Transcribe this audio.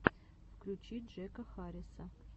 включи джека харриса